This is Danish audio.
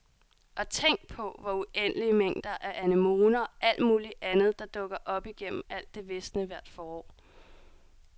Og tænk på, hvor uendelig mængder af anemoner og alt muligt andet der dukker op igennem alt det visne hvert forår.